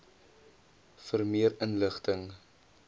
vir meer inligting